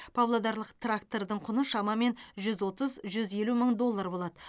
павлодарлық трактордың құны шамамен жүз отыз жүз елу мың доллар болады